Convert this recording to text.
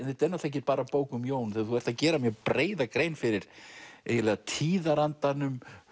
ekki bara bók um Jón þú ert að gera mjög breiða grein fyrir eiginlega tíðarandanum